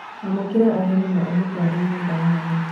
Amũkĩra ageni na ũmatware nyũmba ya thĩ.